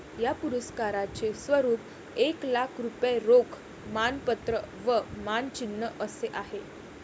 या पुरस्काराचे स्वरूप एक लाख रुपये रोख मानपत्र व मानचिन्ह असे आहे.